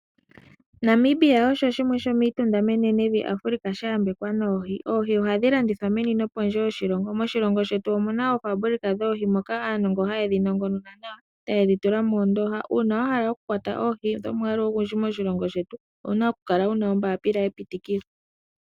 Namibia osho shimwe shomiitunda menenevi lya Africa ,no sha ya mbekwa noohi. Oohi ohadhi landithwa meni nosho woo pondje yoshilongo, moshilongo shetu omuna oofambulika moka muna aanongoni yoohi noha ye dhi nongonona nawa etayedhi tula moondoha. Uuna wahala okukwata nawa oohi dhomwaalu ogundji owapumbwa ompapila yepitikolo.